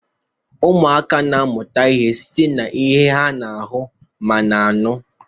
ụmụaka na-amụta ihe site n'ihe ha na-ahụ ma na-anụ